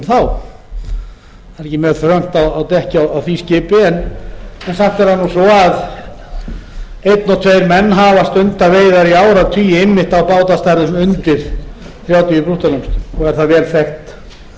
er ekki mjög þröngt á dekki á því skipi en samt er það svo að einn og tveir menn hafa stundað veiðar í áratugi einmitt á bátastærðum undir þrjátíu brúttólestum og er það vel þekkt